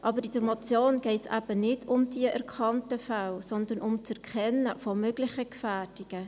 Aber in der Motion geht es eben nicht um die erkannten Fälle, sondern um das Erkennen möglicher Gefährdungen.